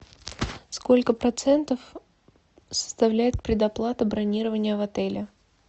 сколько процентов составляет предоплата бронирования в отеле